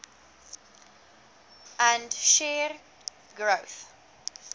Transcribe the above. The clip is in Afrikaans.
and shared growth